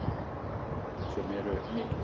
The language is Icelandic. Mörk sem eru mikilvæg.